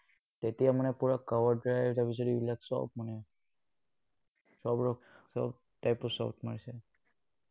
তেতিয়া মানে পুৰা cover drive আৰু তাৰ পিছত এইবিলাক চব মানে। চব, চব type ৰ shot মাৰিছে।